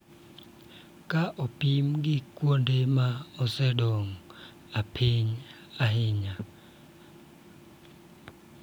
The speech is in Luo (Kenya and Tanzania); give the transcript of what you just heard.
Ka opim gi kuonde ma osedongo ahinya.